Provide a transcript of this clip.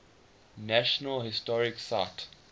national historic site